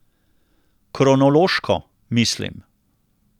Kronološko, mislim.